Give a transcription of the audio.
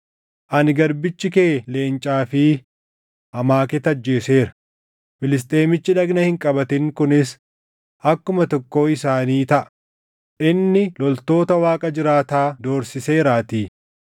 Ani garbichi kee leencaa fi amaaketa ajjeeseera; Filisxeemichi dhagna hin qabatin kunis akkuma tokkoo isaanii taʼa; inni loltoota Waaqa jiraataa doorsiseeraatii.